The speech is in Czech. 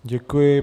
Děkuji.